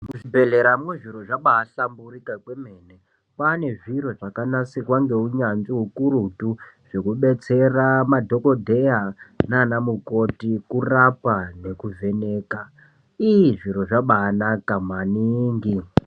Mu zvibhehlera mwo zviro zvabai shamurika kwemene kwane zviro zvaka nasirwa nge unyanzvi ukuruti zveku detsera madhokoteya nana mukoti kurapa neku vheneka iii zviro zvabai naka maningi.